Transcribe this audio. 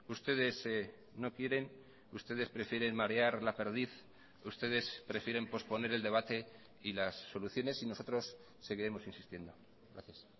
ustedes no quieren ustedes prefieren marear la perdiz ustedes prefieren posponer el debate y las soluciones y nosotros seguiremos insistiendo gracias